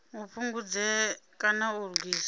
a fhungudze kana a lugise